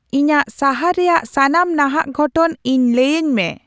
ᱤᱧᱟᱹᱜ ᱥᱟᱦᱟᱨ ᱨᱮᱭᱟᱜ ᱥᱟᱱᱟᱢ ᱱᱟᱦᱟᱜ ᱜᱷᱚᱴᱚᱱ ᱤᱧ ᱞᱟᱹᱭᱟᱹᱧ ᱢᱮ